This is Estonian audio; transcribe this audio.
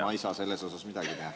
Ma ei saa sellega midagi teha.